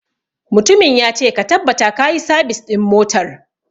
Mutumin ya ce 'Ka tabbata kayi sabis ɗin motar'!